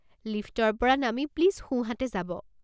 লিফ্টৰ পৰা নামি প্লিজ সোঁ হাতে যাব।